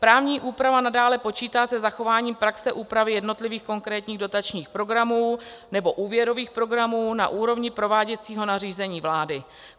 Právní úprava nadále počítá se zachováním praxe úpravy jednotlivých konkrétních dotačních programů nebo úvěrových programů na úrovni prováděcího nařízení vlády.